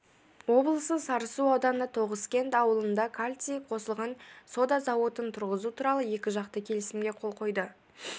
облысы сарысу ауданы тоғызкент ауылында калций қосылған сода зауытын тұрғызу туралы екіжақты келісімге қол қойды